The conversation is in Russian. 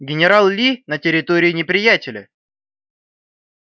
генерал ли на территории неприятеля